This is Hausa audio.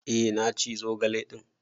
Eh na ci zogale din.